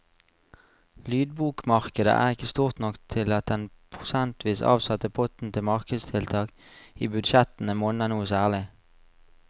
Lydbokmarkedet er ikke stort nok til at den prosentvis avsatte potten til markedstiltak i budsjettene monner noe særlig.